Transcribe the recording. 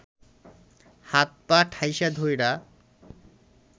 হাত পা ঠাইসা ধইরা